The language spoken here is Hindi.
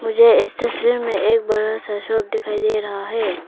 मुझे इस तस्वीर में एक बड़ा सा शॉप दिखाई दे रहा है।